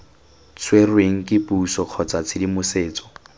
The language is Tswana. tshwerweng ke puso kgotsa tshedimosetso